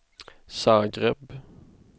Zagreb